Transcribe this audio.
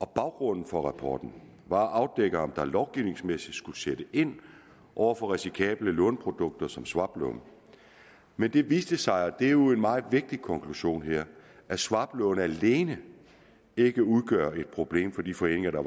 baggrunden for rapporten var at afdække om der lovgivningsmæssigt skulle sættes ind over for risikable låneprodukter som swaplån men det viste sig og det er jo en meget vigtig konklusion her at swaplån alene ikke udgør et problem for de foreninger der